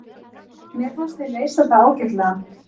Mér fannst við leysa það ágætlega.